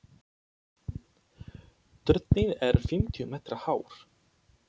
Turninn er fimmtíu metra hár.